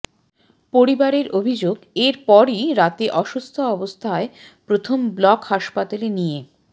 পরিবারের অভিযোগ এরপরই রাতে অসুস্থ অবস্থায় প্রথমে ব্লক হাসপাতালে নিয়ে